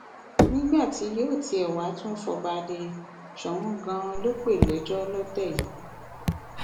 nígbà tí yóò tiẹ wáá tún fọba lé e soun ganan ló pè lẹjọ lọtẹ yìí